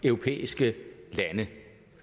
europæiske lande